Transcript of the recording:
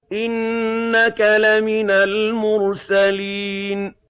إِنَّكَ لَمِنَ الْمُرْسَلِينَ